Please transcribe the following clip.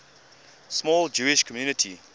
small jewish community